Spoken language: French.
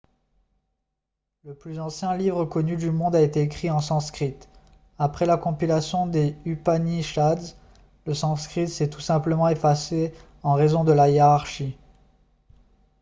le plus ancien livre connu du monde a été écrit en sanskrit après la compilation des upanishads le sanskrit s'est tout simplement effacé en raison de la hiérarchie